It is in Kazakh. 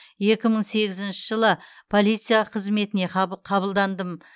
екі мың сегізінші жылы полиция қызметіне қабылдандым